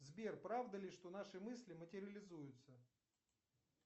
сбер правда ли что наши мысли материализуются